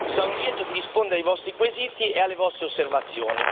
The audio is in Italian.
Sarò lieto di risponde ai vostri quesiti e alle vostre osservazioni.